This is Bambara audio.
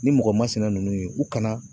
Ni mɔgɔ masinɛ ninnu ye u kana